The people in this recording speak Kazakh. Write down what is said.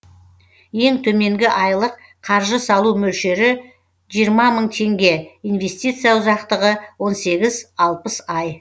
ең төменгі айлық қаржы салу мөлшері жиырма мың теңге инвестиция ұзақтығы он сегіз алпыс ай